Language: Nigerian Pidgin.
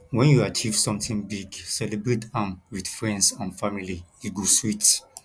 when you achieve something big celebrate am with friends and family e go sweet